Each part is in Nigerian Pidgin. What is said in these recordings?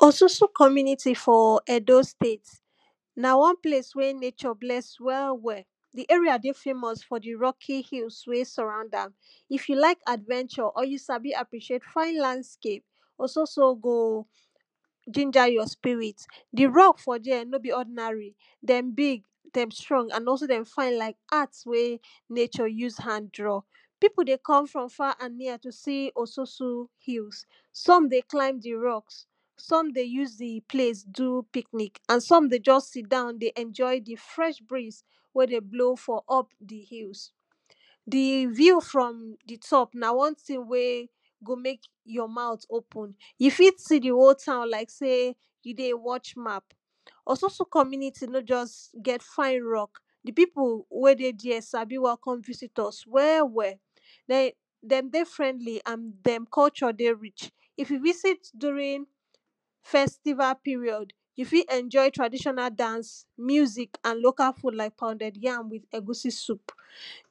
Ososo community for Edo State na one place wey nature bless well well, di area dey famous for di rocky hills wey surround am. If you like adventure or you sabi appreciate fine landscape Ososo go jinja your spirit. Di rock for dere no be ordinary dem big, dem strong and also dey fine like art wey nature use hand draw. Pipo dey come from far and near to see Ososo hills, some dey climb di rocks, some dey use di place do picnic and some dey just sit down dey enjoy di fresh breeze wey dey blow for up di hills. Di view from di top na one thing wey go make your mouth open, you fit see di whole town like sey you dey watch map. Ososo community no just get fine rock, di pipo wey dey dere sabi welcome visitors well well, dem dey friendly and dem culture dey rich. If you visit during festival period, you fit enjoy traditional dance, music and local food like pounded yam with egusi soup.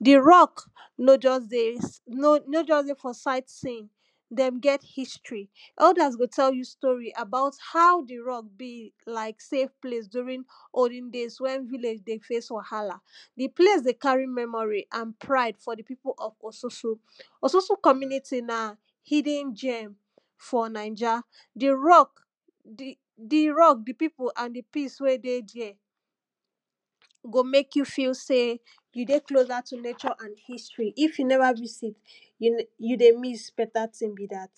Di rock no just dey, no just dey for sight seeing, dem get history elders go tell you stories about how di rock be like save place during olden days when village dey face wahala. Di place dey carry memory and pride for di pipo of Ososo. Ososo community na hidden gem for naija, di rock, di rock, di pipo and di peace wey dey dere go mek you feel sey you dey closer to nature and history. If you never visit you dey miss better thing be dat.